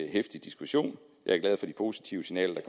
heftig diskussion jeg er glad for de positive signaler